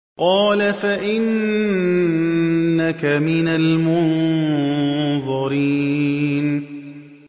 قَالَ فَإِنَّكَ مِنَ الْمُنظَرِينَ